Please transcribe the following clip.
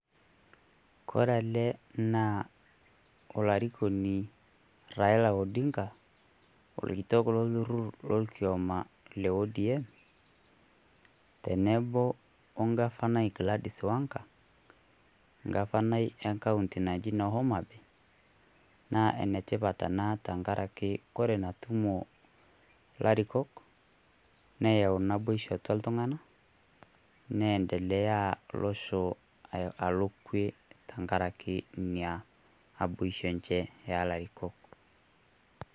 Kore ele naa olarikoni Raila Odinga, orkitok lolkiyama le Orange Democratic Movement tenebo wegafanai naji Gladies wengar egafanai ewueji neji noo HomaBay, naa enetipat ena tengaraki wore Ina tumo ilarikok neyau naboisho atwa iltung'anak neyendelea losho alo kwe tengaraki Ina naboisho enche oolarikok.